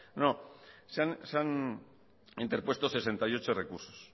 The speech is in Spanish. no se han interpuesto sesenta y ocho recursos